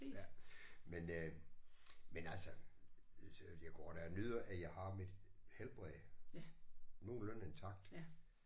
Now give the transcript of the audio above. Ja men øh men altså jeg går da og nyder at jeg har mit helbred nogenlunde intakt